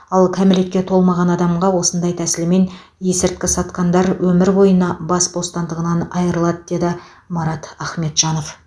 ал кәмелетке толмаған адамға осындай тәсілмен есірткі сатқандар өмір бойына бас бостандығынан айырылады деді марат ахметжанов